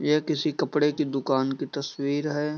ये किसी कपड़े के दुकान की तस्वीर है।